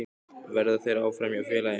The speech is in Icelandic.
Verða þeir áfram hjá félaginu?